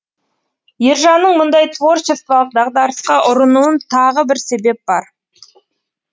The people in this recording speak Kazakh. ержанның мұндай творчестволық дағдарысқа ұрынуын тағы бір себеп бар